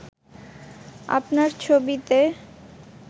আপনার ছবিতে